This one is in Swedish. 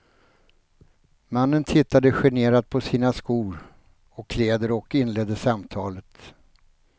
Mannen tittade generat på sina skor och kläder och inledde samtalet.